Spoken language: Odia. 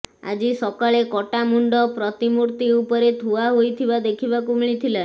ଆଜି ସକାଳେ କଟା ମୁଣ୍ତ ପ୍ରତିମୂର୍ତ୍ତି ଉପରେ ଥୁଆ ହୋଇଥିବା ଦେଖିବାକୁ ମିଳିଥିଲା